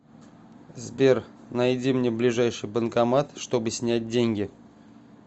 сбер найди мне ближайший банкомат чтобы снять деньги